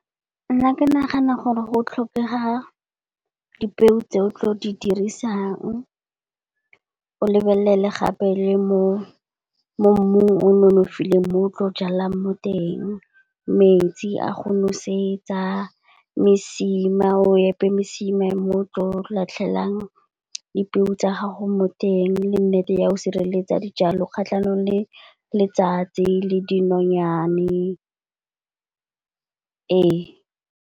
Nna ke nagana gore go tlhokega dipeo tse o tlo di dirisang. O lebelele gape le mo mmung o nonofileng mo tlo jalang mo teng. Metsi a go nosetsa, mesima, o epe mesima mo tlo latlhelang dipeo tsa gago mo teng, le nnete ya o sireletsa dijalo kgatlhanong le letsatsi le dinonyane.